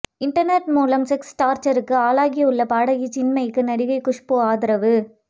internet மூலம் sex டார்ச்சருக்கு ஆளாகியுள்ள பாடகி சின்மயிக்கு நடிகை குஷ்பு ஆதரவு